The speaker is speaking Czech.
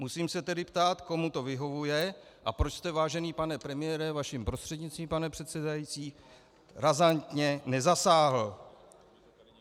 Musím se tedy ptát, komu to vyhovuje a proč jste, vážený pane premiére, vaším prostřednictvím, pane předsedající, razantně nezasáhl.